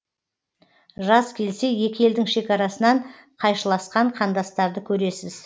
жаз келсе екі елдің шекарасынан қайшыласқан қандастарды көресіз